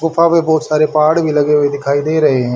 गुफा में बहोत सारे पहाड़ भी लगे हुए दिखाई दे रहे हैं।